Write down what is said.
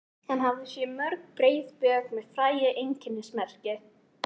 Hann hafði séð á mörg breið bök með frægu einkennismerki.